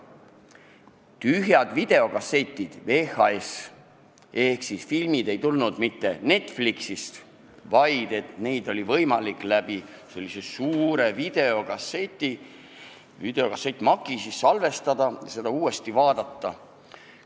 Olid tühjad videokassetid, VHS-id, ning filmid ei tulnud mitte Netflixist, vaid neid oli võimalik sellise suure videokassettmakiga endale salvestada ja siis uuesti vaadata.